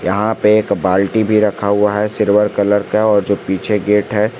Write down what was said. यहां पे एक बाल्टी भी रखा हुआ है सिल्वर कलर का और जो पीछे गेट है।